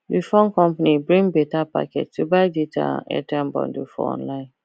the phone company bring better package to buy data and airtime bundle for online